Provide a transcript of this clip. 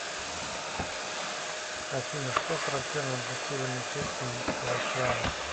афина что характерно для северной части индийского океана